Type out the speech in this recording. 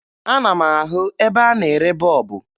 Ana m ahụ ebe a na-ere bọọbụ